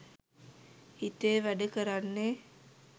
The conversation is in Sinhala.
හිතේ වැඩ කරන්නේ